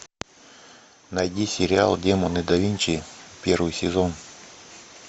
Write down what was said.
найди сериал демоны да винчи первый сезон